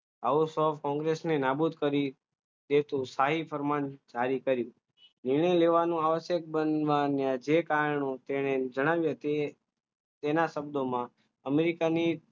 આવો શોખ કોંગ્રેસને નાબૂદ કરી એ તો સ્થાયી અરમાન જાહેર કર્યું નિર્ણય લેવાનો આવાસ જે કારણો તેને જણાવ્યું તે તેના શબ્દોમાં અમેરિકાની